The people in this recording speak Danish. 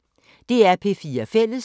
DR P4 Fælles